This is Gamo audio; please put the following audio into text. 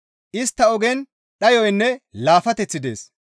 Istta ogen dhayoynne laafateththi dees.